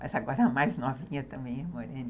Mas agora a mais novinha também é moreninha.